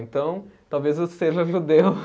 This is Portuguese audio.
Então, talvez eu seja judeu.